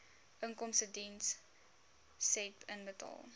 inkomstediens said inbetaal